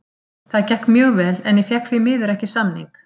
Það gekk mjög vel en ég fékk því miður ekki samning.